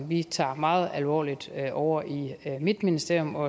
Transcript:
vi tager meget alvorligt ovre i mit ministerium og